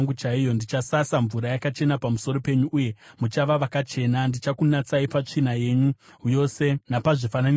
Ndichasasa mvura yakachena pamusoro penyu, uye muchava vakachena, ndichakunatsai patsvina yenyu yose napazvifananidzo zvenyu.